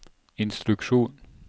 instruksjon